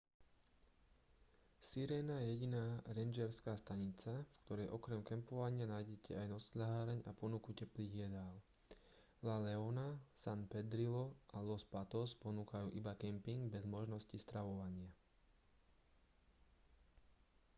sirena je jediná rangerská stanica v ktorej okrem kempovania nájdete aj nocľaháreň a ponuku teplých jedál la leona san pedrillo a los patos ponúkajú iba kemping bez možnosti stravovania